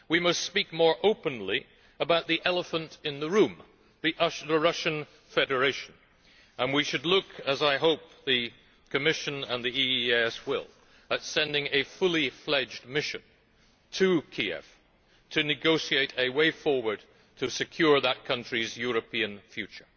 We must speak more openly about the elephant in the room the Russian Federation and we should look, as I hope the Commission and the EEAS will, at sending a fully fledged mission to Kiev to negotiate a way forward to secure that country's European future.